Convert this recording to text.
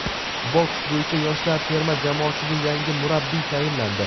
Boks bo‘yicha yoshlar terma jamoasiga yangi murabbiy tayinlandi.